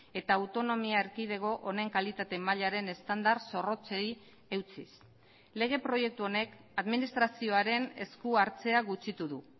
eta autonomia erkidego honen kalitate mailaren estandar zorrotzei eutsiz lege proiektu honek administrazioaren esku hartzea gutxitu du